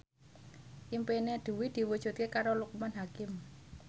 impine Dwi diwujudke karo Loekman Hakim